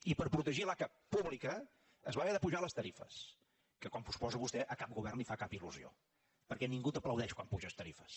i per protegir l’aca pública es van haver d’apujar les tarifes que com suposa vostè a cap govern li fa cap il·ningú t’aplaudeix quan apuges tarifes